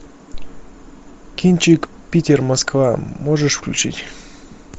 кинчик питер москва можешь включить